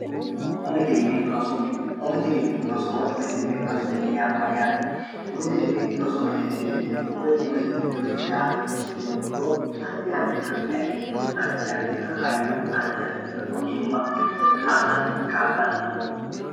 umi dirimi rosu mine umi dirimi rosowo umi dirimi rosumine yaa mayyaate umi dirimi rosu mineeti yineemmohu woy umi dirim rosoya yino moro addi addita egenno addi addita hayyoo atti addita ogiimma afirate kaa'lanno